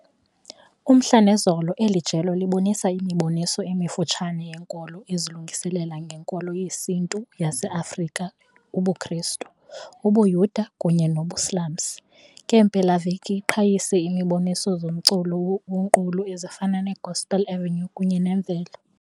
Umhla nezolo eli jelo libonisa imiboniso emifutshane yenkolo ezilungiselela ngeNkolo yesiNtu yaseAfrika ubuKristu, ubuYuda kunye nobuSilamsi. Ngeempelaveki iqhayisa imiboniso zomculo wonqulo ezifana neGospel Avenue kunye ne Mvelo.